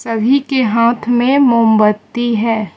सभी के हाथ में मोमबत्ती है।